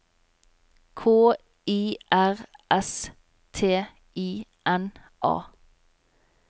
K I R S T I N A